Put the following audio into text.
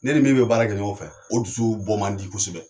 Ne ni min bɛ baara kɛ ɲɔgɔn fɛ, o dusu bɔ man di kosɛbɛ.